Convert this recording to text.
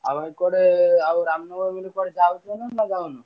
ଆଉ ଏପଟେ ଆଉ ରାମନବମୀ ବୋଲି କୁଆଡେ ଯାଉଛ ନା ଯାଉନ?